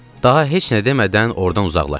Daha heç nə demədən ordan uzaqlaşdım.